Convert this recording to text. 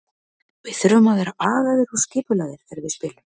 Við þurfum að vera agaðir og skipulagðir þegar við spilum.